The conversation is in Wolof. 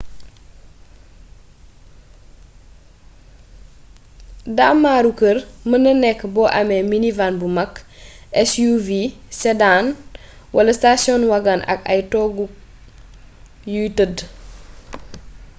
daamaru kër mën na nékk bo amé minivan bu makk suv sedan wala station wagon ak ay toogu yuy tëdd